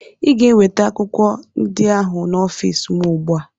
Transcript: Ị ga-eweta akwụkwọ ndị ahụ n'ọfịs m ugbu a!